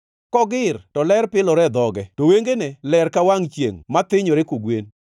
Kogir to ler pilore e dhoge to wengene ler ka wangʼ chiengʼ ma thinyore kogwen.